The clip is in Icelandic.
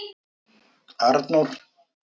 Arnór